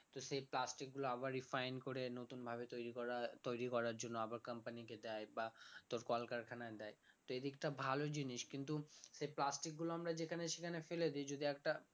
তো সে plastic গুলো আবার refine করে নতুন ভাবে তৈরি করা তৈরি করার জন্য আবার company কে দেয় বা তোর কল কারখানায় দেয় তো এদিকটা ভালো জিনিস কিন্তু সে plastic গুলো আমরা যেখানে সেখানে ফেলে দেই যদি একটা